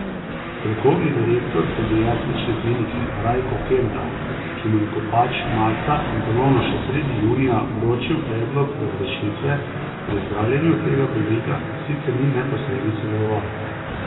Strokovni direktor pediatrične klinike Rajko Kenda, ki mu je Kopač marca in ponovno še sredi junija vročil predlog razrešitve, pri zdravljenju tega bolnika sicer ni neposredno sodeloval.